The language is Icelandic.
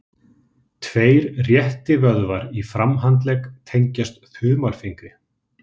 Tveir réttivöðvar í framhandlegg tengjast þumalfingri.